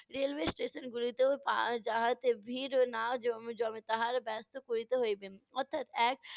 railway station গুলিতেও পা~ যাহাতে ভিড় না জ~ জমে তাহার ব্যস্ত করিয়ে হইবেন। অর্থাৎ, এক